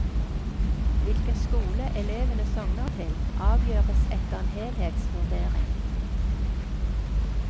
Hvilken skole elevene sogner til, avgjøres etter en helhetsvurdering.